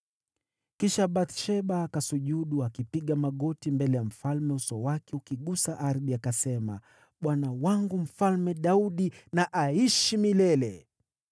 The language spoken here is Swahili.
Kisha Bathsheba akasujudu akipiga magoti mbele ya mfalme uso wake ukigusa ardhi akasema, “Bwana wangu Mfalme Daudi na aishi milele!”